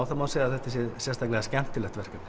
það má segja að þetta sé sérstaklega skemmtilegt verkefni